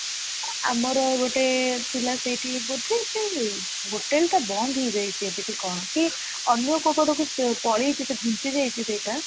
ଆମର ଗୋଟେ ଥିଲା ସେଇଠି ବୋଧେ ସେ hotel ଟା ବନ୍ଦ ହେଇ ଯାଇଛି ଏବେ କି କଣ କି ଅନ୍ୟ କଉ ପଟ କୁ ପଳେଇଚି ସେ ଘୁଞ୍ଚି ଯାଇଛି ସେଇଟା